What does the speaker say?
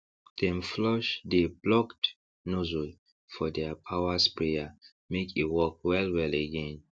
dem flush dey blocked nozzle for deir power sprayer make e work well well again